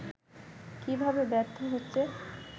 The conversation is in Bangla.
কীভাবে ব্যর্থ হচ্ছে